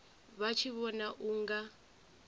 vha tshi vhona u nga